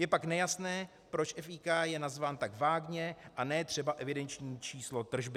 Je pak nejasné, proč FIK je nazván tak vágně a ne třeba "evidenční číslo tržby".